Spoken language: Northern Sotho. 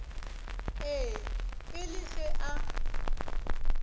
ee e le ge a